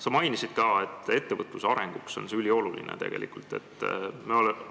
Sa mainisid ka, et ettevõtluse arenguks on see tegelikult ülioluline.